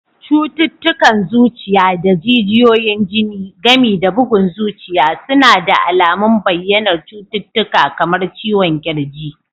Cututtukan zuciya da jijiyoyin jini, gami da bugun zuciya suna da alamun bayyanar cututtuka kamar ciwon ƙirji